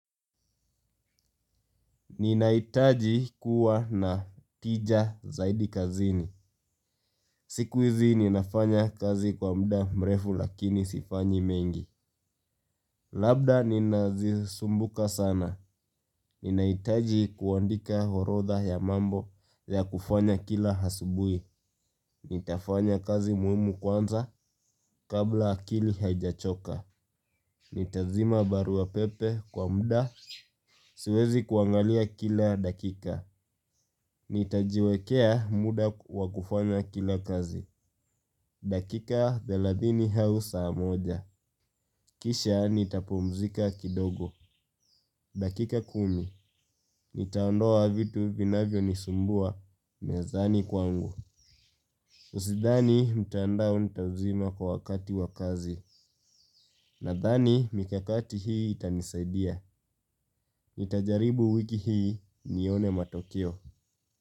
Ninahitaji kuwa na tija zaidi kazini. Sikuizi ninafanya kazi kwa muda mrefu lakini sifanyi mengi. Labda ninazisumbuka sana. Ninaitaji kuandika orodha ya mambo ya kufanya kila asubui. Nitafanya kazi muhimu kwanza kabla akili haijachoka. Nitazima barua pepe kwa muda. Siwezi kuangalia kila dakika. Nitajiwekea muda wakufanya kila kazi. Dakika thelathini au saa moja. Kisha nitapumzika kidogo. Dakika kumi. Nitaondoa vitu vinavyo nisumbua. Mezani kwangu Usidhani mtandao nitazima kwa wakati wa kazi. Nadhani mikakati hii itanisaidia. Nitajaribu wiki hii nione matokeo.